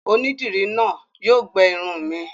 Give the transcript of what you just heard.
Onídìrí náà yóò gbẹ irun mi.